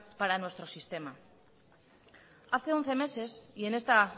para nuestro sistema hace once meses y en esta